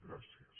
gràcies